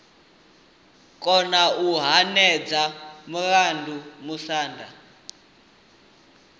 kona u hwedza mulandu musanda